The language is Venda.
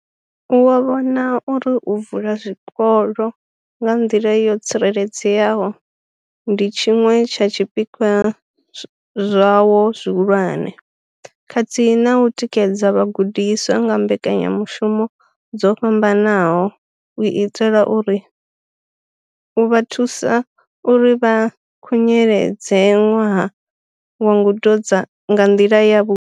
Wo vhona uri u vula zwikolo nga nḓila yo tsireledzeaho ndi tshiṅwe tsha zwipikwa zwawo zwihulwane, khathihi na u tikedza vhagudiswa nga mbekanyamushumo dzo fhambanaho u itela u vha thusa uri vha khunyeledze ṅwaha wa ngudo nga nḓila yavhuḓi.